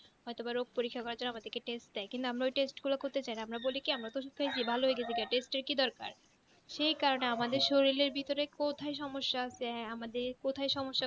হয়তো বড়ো পরীক্ষার জন্য আমাদেরকে test দেয় কিন্তু আমরা ওই test গুলা করেত যায়না আমরা বলি কি আমরা বলি কি প্রথম থেকে ভালো হয়ে গেছি test এর কি দরকার সেই কারণে আমাদের শরীরের ভিতরে কোথায় সমস্যা আছে আমাদের কোথায় সমস্যা